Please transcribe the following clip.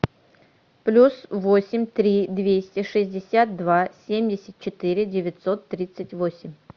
плюс восемь три двести шестьдесят два семьдесят четыре девятьсот тридцать восемь